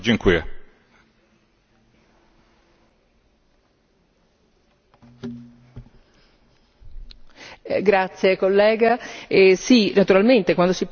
Sì naturalmente quando si parla di avanzare questa richiesta in sede ONU è perché alcuni paesi, alcuni Stati dell'ONU l'hanno fatto, l'ha fatto anche l'Unesco, ma finora non c'è stata